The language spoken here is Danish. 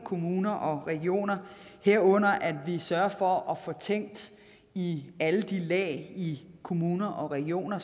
kommuner og regioner herunder at vi sørger for at få tænkt i alle de lag i kommuner og regioner